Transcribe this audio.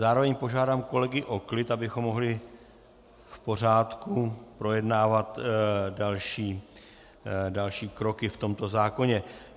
Zároveň požádám kolegy o klid, abychom mohli v pořádku projednávat další kroky v tomto zákoně.